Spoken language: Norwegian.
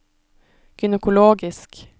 gynekologisk